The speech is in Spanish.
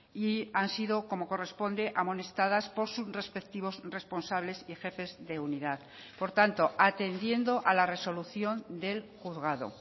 y han sido como corresponde amonestadas por sus respectivos responsables y jefes de unidad por tanto atendiendo a la resolución del juzgado